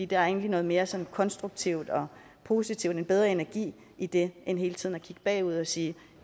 det er egentlig noget mere sådan konstruktivt og positivt en bedre energi i det end i hele tiden at kigge bagud og sige